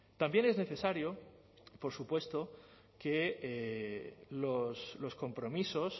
también es necesario por supuesto que los compromisos